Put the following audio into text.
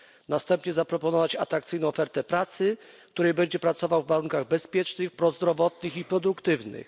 Następnie zaproponować mu atrakcyjną ofertę pracy, w której będzie pracował w warunkach bezpiecznych, prozdrowotnych i produktywnych.